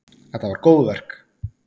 Þetta var góðverk.